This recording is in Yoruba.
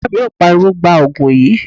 Ìyá mi yóò pariwo, 'Gbaa Ògùn yìí!'